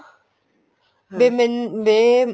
ਵੀ ਮੈਨੂ ਵੀ